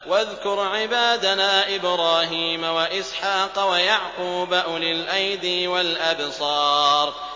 وَاذْكُرْ عِبَادَنَا إِبْرَاهِيمَ وَإِسْحَاقَ وَيَعْقُوبَ أُولِي الْأَيْدِي وَالْأَبْصَارِ